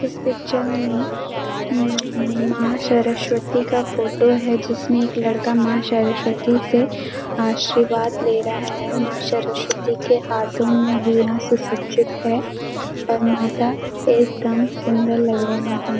इस पिक्चर में हम्म मां शरस्वती का फोटो है जिसमें एक लड़का मां शरस्वति से आशीर्वाद ले रहा है। मां शरस्वती के हाथों में वीणा सुसज्जित है और माता एकदम सुंदर लग रहीं हैं।